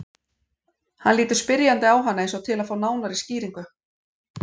Hann lítur spyrjandi á hana eins og til að fá nánari skýringu.